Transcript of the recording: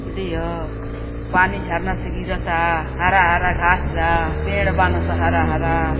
नदी ह पानी झरना से गिरता हरा हरा घास बा पेड़ बान सन हरा हरा।